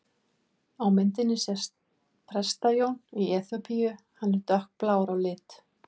Á myndinni sést Presta-Jón í Eþíópíu, hann er dökkblár á lit.